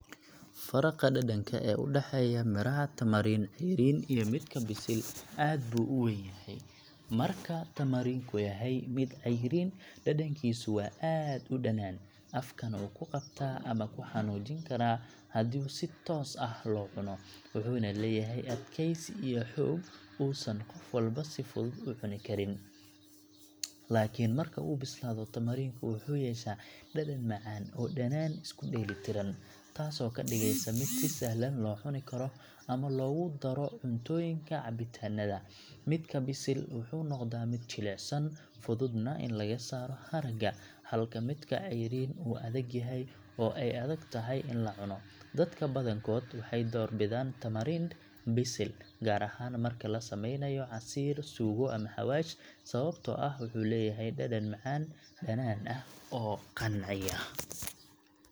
Faraqa dhadhanka ee u dhexeeya miraha tamarind cayriin iyo midka bisil aad buu u weyn yahay. Marka tamarind ku yahay mid cayriin, dhadhankiisu waa aad u dhanaan, afkana wuu ku qabtaa ama ku xanuujin karaa haddii si toos ah loo cuno, wuxuuna leeyahay adkaysi iyo xoog uusan qof walba si fudud u cunin karin. Laakiin marka uu bislaado, tamarind ku wuxuu yeeshaa dhadhan macaan oo dhanaan isku dheelitiran, taasoo ka dhigaysa mid si sahlan loo cuni karo ama loogu daro cuntooyinka iyo cabitaanada. Midka bisil wuxuu noqdaa mid jilicsan, fududna in laga saaro haragga, halka midka cayriin uu adag yahay oo ay adagtahay in la cuno. Dadka badankood waxay door bidaan tamarind bisil, gaar ahaan marka la sameynayo casiir, suugo ama xawaash, sababtoo ah wuxuu leeyahay dhadhan macaan-dhanaan ah oo qanciya.